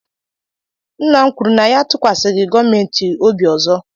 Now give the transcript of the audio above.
Nna m kwuru na ya atụkwasịghị gọọmentị obi ọzọ